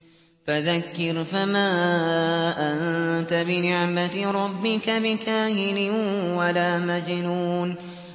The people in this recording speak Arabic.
فَذَكِّرْ فَمَا أَنتَ بِنِعْمَتِ رَبِّكَ بِكَاهِنٍ وَلَا مَجْنُونٍ